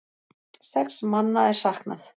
Sex manna er saknað.